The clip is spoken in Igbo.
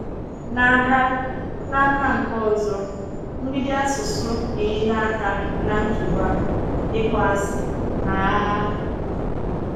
N’aka N’aka nke ọzọ, mgbidi asụsụ enyela aka na nkewa, ịkpọasị, na agha.